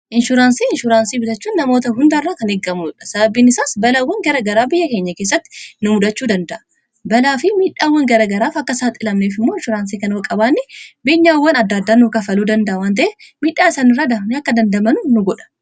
inshuraansii inshuuraansii bitachuun namoota hundaarraa kan eeggamuudha sababbiin isaas balaawwan gara garaa biyya keenya keessatti nu mudhachuu danda'a balaa fi midhaawwan garagaraaf akka isaaxilamneef immo insuraansii kan qabaanni beenyaaawwan addaardannuu kafaluu danda'a wanta'e midhaa isanirradan akka dandamanu nu godha